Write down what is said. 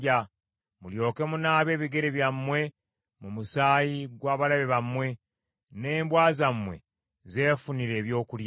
mulyoke munaabe ebigere byammwe mu musaayi gw’abalabe bammwe, n’embwa zammwe zeefunire ebyokulya.”